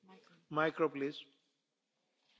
Herr Präsident, liebe Kolleginnen und Kollegen.